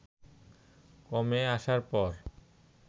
কমে আসার পর